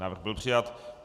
Návrh byl přijat.